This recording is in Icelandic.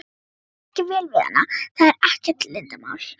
Mér er ekki vel við hana, það er ekkert leyndarmál.